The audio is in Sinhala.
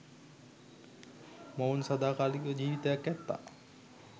මොවුන් සදාකාලික ජිවිතයක් ඇත්තා